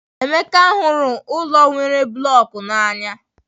Emeka hụrụ ụlọ nwere blocks n'anya.